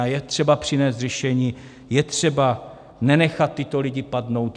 A je třeba přinést řešení, je třeba nenechat tyto lidi padnout.